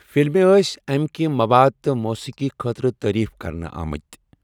فلمہِ ٲسۍ أمۍ کہ مَواد تہٕ موسیٖقی خٲطرٕ تعریٖف کَرنہٕ آمٕتۍ۔